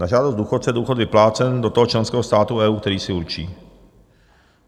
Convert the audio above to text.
Na žádost důchodce je důchod vyplácen do toho členského státu EU, který si určí.